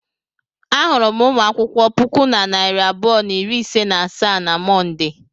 Ahụrụ m ụmụ akwụkwọ puku na narị abụọ na iri ise na asaa na Mọnde.